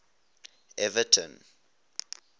everton